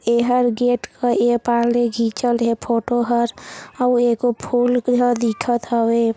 ए हर गेट को ए पाट ले खिचल ये फोटो हर ए गो फूल फूला दिखथ हवे।